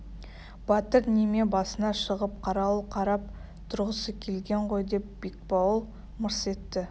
батыр неме басына шығып қарауыл қарап тұрғысы келген ғой деп бекбауыл мырс етті